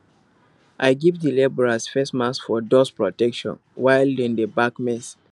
i give di labourers face masks for dust protection while dem dey bag maize